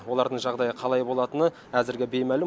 олардың жағдайы қалай болатыны әзірге беймәлім